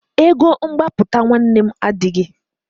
Ego mgbapụta nwanne m adịghị.